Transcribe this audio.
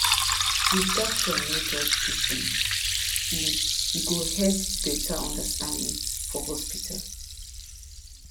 if doctor no judge patient e e go help better understanding for hospital